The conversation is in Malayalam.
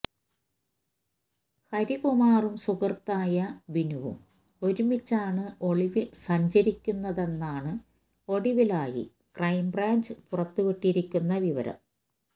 ഹരികുമാറും സുഹൃത്തായ ബിനുവും ഒരുമിച്ചാണ് ഒളിവിൽ സഞ്ചരിക്കുന്നതെന്നാണ് ഒടുവിലായി ക്രൈംബ്രാഞ്ച് പുറത്തുവിട്ടിരിക്കുന്ന വിവരം